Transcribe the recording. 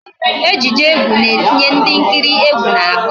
Ejije egwu na-etinye ndị nkiri egwu n'ahụ